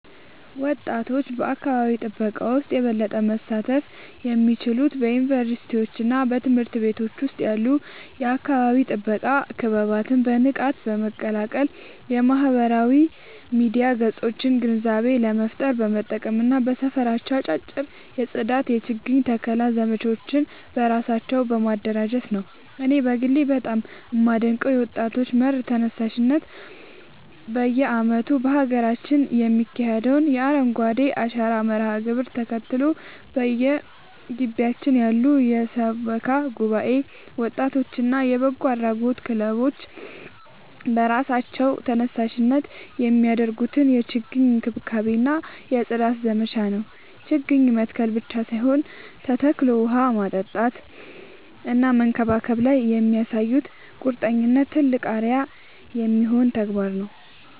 ወጣቶች በአካባቢ ጥበቃ ውስጥ የበለጠ መሳተፍ የሚችሉት በዩኒቨርሲቲዎችና በትምህርት ቤቶች ውስጥ ያሉ የአካባቢ ጥበቃ ክበባትን በንቃት በመቀላቀል፣ የማህበራዊ ሚዲያ ገጾቻቸውን ግንዛቤ ለመፍጠር በመጠቀም እና በየሰፈራቸው አጫጭር የጽዳትና የችግኝ ተከላ ዘመቻዎችን በራሳቸው በማደራጀት ነው። እኔ በግሌ በጣም የማደንቀው የወጣቶች መር ተነሳሽነት በየዓመቱ በሀገራችን የሚካሄደውን የአረንጓዴ አሻራ መርሃ ግብርን ተከትሎ፣ በየግቢያችን ያሉ የሰበካ ጉባኤ ወጣቶችና የበጎ አድራጎት ክለቦች በራሳቸው ተነሳሽነት የሚያደርጉትን የችግኝ እንክብካቤና የጽዳት ዘመቻ ነው። ችግኝ መትከል ብቻ ሳይሆን ተከታትሎ ውሃ ማጠጣትና መንከባከብ ላይ የሚያሳዩት ቁርጠኝነት ትልቅ አርአያ የሚሆን ተግባር ነው።